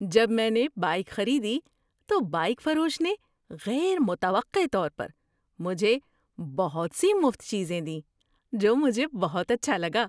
جب میں نے بائیک خریدی تو بایئک فروش نے غیر متوقع طور پر مجھے بہت سی مفت چیزیں دیں، جو مجھے بہت اچھا لگا۔